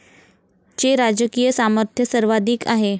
चे राजकीय सामर्थ्य सर्वाधिक आहे.